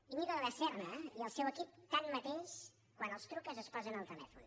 íñigo de la serna i el seu equip tanmateix quan els truques es posen al telèfon